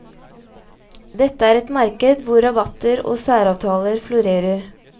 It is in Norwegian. Dette er et marked hvor rabatter og særavtaler florerer.